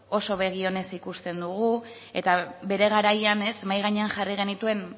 oso begionez ikusten dugu eta bere garaian mahai gainean jarri genituen